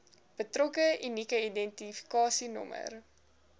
betrokke unieke identifikasienommer